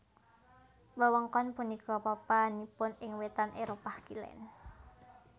Wewengkon punika papanipun ing wètan Éropah Kilèn